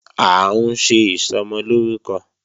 À ń ṣe Ìsọmọlórúkọ